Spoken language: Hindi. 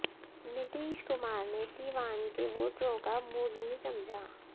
नीतीश कुमार ने सीवान के वोटरों का मूड नहीं समझा